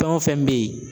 Fɛn o fɛn bɛ yen